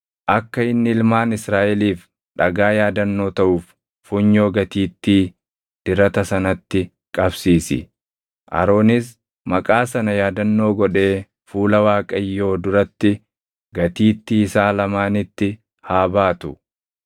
akka inni ilmaan Israaʼeliif dhagaa yaadannoo taʼuuf funyoo gatiittii dirata sanatti qabsiisi. Aroonis maqaa sana yaadannoo godhee fuula Waaqayyoo duratti gatiittii isaa lamaanitti haa baatu.